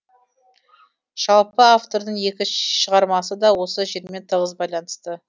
жалпы автордың екі шығармасы да осы жермен тығыз байланысты